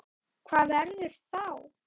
Hvað verður þá?